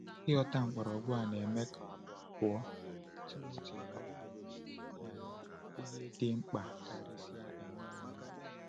Ịghọta mgbọrọgwụ a na-eme ka Abụ abụọ Timoteo ghọọ um ihe dị mkpa karịsịa nye anyị.